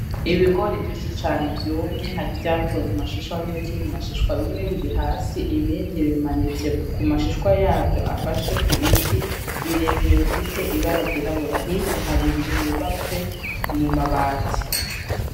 Ibigori vyinshi cane vyumvye hari ivyakuwe mumashishwa nibikiri mumashishwa bimwe biri hasi ibindi bimanitse kumashishwa yavyo afashe kubiti birebire bifise ibara ryirabura hirya hari inzu yubatswe mumabati.